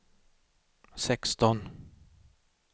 sexton